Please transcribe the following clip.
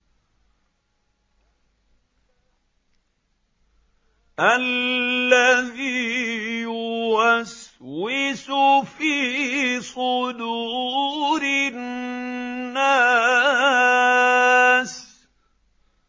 الَّذِي يُوَسْوِسُ فِي صُدُورِ النَّاسِ